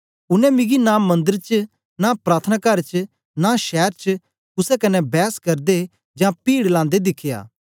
उनै मिकी नां मंदर च नां प्रार्थनाकार च नां शैर च कुसे कन्ने बैस करदे जां पीड़ लांदे दिखया